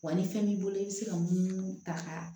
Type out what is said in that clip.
Wa ni fɛn b'i bolo i bɛ se ka munumunu ta ka